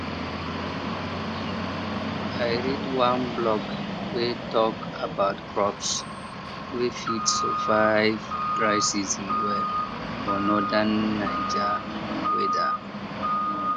i read one blog wey talk about crops wey fit survive dry season well for northern naija weather